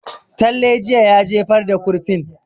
Talle jiye ya jefar da kurfin